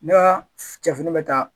Ne ka cɛfini bɛ taa